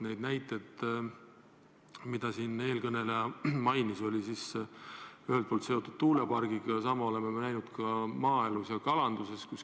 Neid näiteid mainis eelkõneleja ja need olid seotud tuulepargiga, aga sama oleme näinud ka maaelus ja kalanduses.